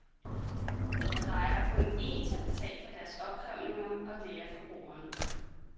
Og der er kun en til at betale for deres opkrævninger, og det er forbrugeren.